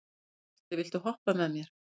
Galti, viltu hoppa með mér?